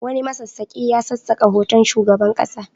Wani masassaƙi ya sassaka hoton shugaban ƙasa.